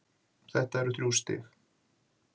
Þetta eru þrjú stig!